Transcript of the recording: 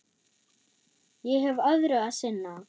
Ég hef öðru að sinna.